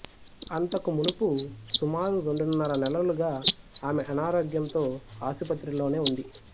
అంతకు మునుపు సుమారు రెండున్నర నెలలుగా ఆమె అనారోగ్యంతో ఆసుపత్రిలోనే ఉంది